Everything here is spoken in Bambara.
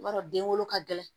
I b'a dɔn den wolo ka gɛlɛn